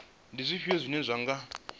ndi zwifhio zwine zwa nga